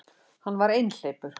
Hann var einhleypur.